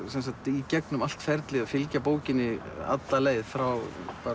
í gegnum allt ferlið fylgja bókinni frá